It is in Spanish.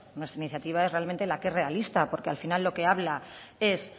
nuestra iniciativa es realmente la que es realista porque al final lo que habla es